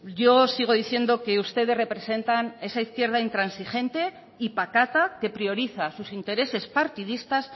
yo sigo diciendo que ustedes representan esa izquierda intransigente y patata que prioriza sus intereses partidistas